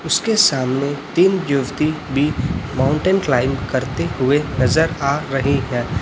उसके सामने तीन युवती भी माउंटेन क्लाइंब करते हुए नजर आ रही है।